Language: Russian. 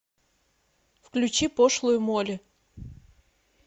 включи пошлую молли